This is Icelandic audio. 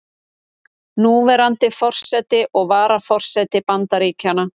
Núverandi forseti og varaforseti Bandaríkjanna.